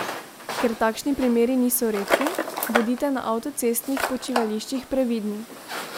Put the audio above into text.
Ker takšni primeri niso redki, bodite na avtocestnih počivališčih previdni!